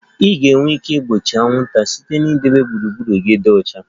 Ị ga-enwe ike igbochi anwụnta site na idebe gburugburu gị dị ọcha